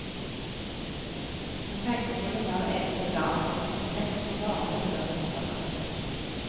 Hun tenker på det hver eneste dag, et kompleks som bare blir større og større.